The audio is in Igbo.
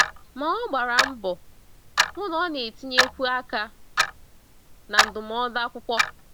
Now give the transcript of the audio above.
Ma ọ gbara mbọ hụ na ọ na-etinyekwu aka na ndụmọdụ akwụkwọ.